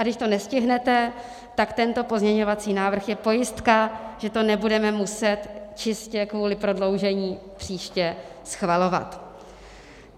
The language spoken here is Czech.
A když to nestihnete, tak tento pozměňovací návrh je pojistka, že to nebudeme muset čistě kvůli prodloužení příště schvalovat.